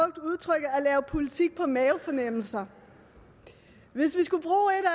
jeg har politik på mavefornemmelser hvis vi skulle